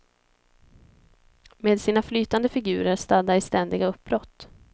Med sina flytande figurer stadda i ständiga uppbrott.